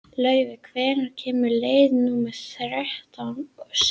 Laufey, hvenær kemur leið númer þrjátíu og sex?